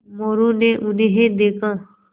मोरू ने उन्हें देखा